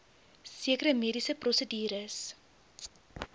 sekere mediese prosedures